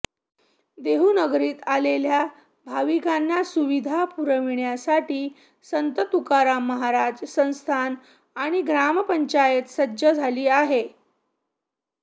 देहूनगरीत आलेल्या भाविकांना सुविधा पुरविण्यासाठी संत तुकाराम महाराज संस्थान आणि ग्रामपंचायत सज्ज झाली आहे